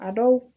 A dɔw